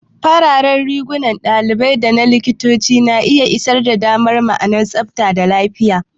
Fararen rigunan ɗalibai da likitoci na iya isar da ma'anar tsabta da lafiya.